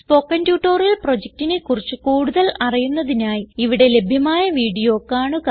spoken tutorial പ്രൊജക്റ്റിനെ കുറിച്ച് കൂടുതൽ അറിയുന്നതിനായി ഇവിടെ ലഭ്യമായ വീഡിയോ കാണുക